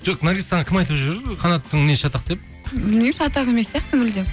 жоқ наргиз саған кім айтып жүр қанаттың мінезі шатақ деп білмеймін шатақ емес сияқты мүлдем